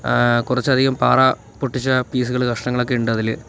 ങ്ഹ് കുറച്ചധികം പാറ പൊട്ടിച്ചത് പീസുകൾ കഷ്ണങ്ങളൊക്കെ ഉണ്ട് അതിൽ.